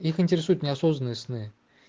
их интересуют не осознанные сны